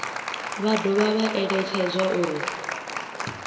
vha dovha vha eletshedzwa uri